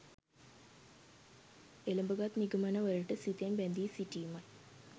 එළඹගත් නිගමනවලට සිතෙන් බැඳී සිටීමයි.